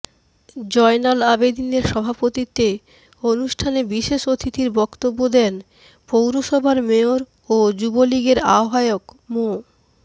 জয়নাল আবেদীনের সভাপতিত্বে অনুষ্ঠানে বিশেষ অতিথির বক্তব্য দেন পৌরসভার মেয়র ও যুবলীগের আহ্বায়ক মো